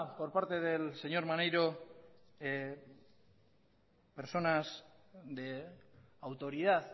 por parte del señor maneiro personas de autoridad